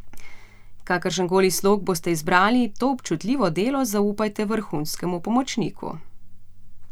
Kakršenkoli slog boste izbrali, to občutljivo delo zaupajte vrhunskemu pomočniku.